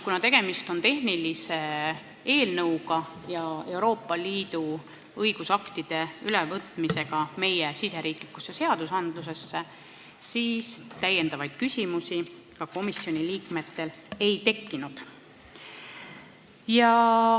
Kuna tegemist on tehnilise eelnõuga, Euroopa Liidu õigusaktide ja meie riigi seaduste kooskõlla viimisega, siis komisjoni liikmetel täiendavaid küsimusi ei tekkinud.